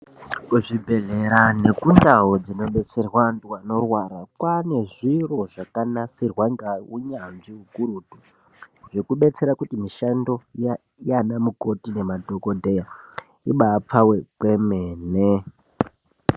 Kuzvibhedhlera nekundau dzinobetserwa antu anorwara, kwaane zviro zvakanasirwa ngaunyanzvi ukurutu, zvokubetsera kuti mishando yaanamukoti nemadhokodheya, ibaapfawe kwemene.